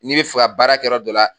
Ni bi fɛ ga baarakɛ yɔrɔ dɔ la